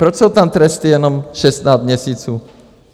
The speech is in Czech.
Proč jsou tam tresty jenom 16 měsíců?